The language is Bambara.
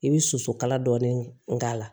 I bɛ soso kala dɔɔni k'a la